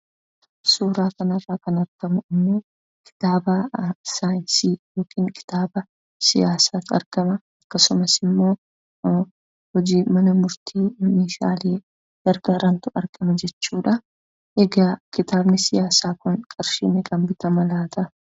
Suuraa kanarraa kan argamu ammoo kitaaba saayinsii yookaan siyaasaatu argama. Akkasumas ammoo hojii mana murtiif meshaale gargaarantu argama jechuudha. Egaa kitaabni siyaasaa kun qarshii meeqaan bitama laata?